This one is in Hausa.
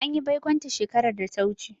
An yi baikonta shekarar da ta wuce.